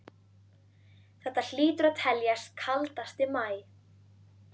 Þetta hlýtur að teljast kaldasti maí